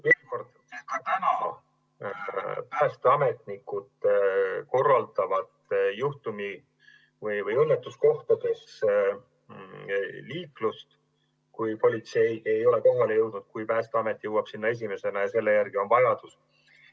Veel kord: ka praegu päästeametnikud korraldavad juhtumi- või õnnetuskohtades liiklust, kui politsei ei ole kohale jõudnud ja kui Päästeamet on sinna jõudnud esimesena ja selle järele on vajadus.